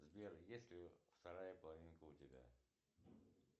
сбер есть ли вторая половинка у тебя